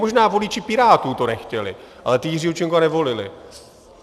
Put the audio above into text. Možná voliči Pirátů to nechtěli, ale ti Jiřího Čunka nevolili.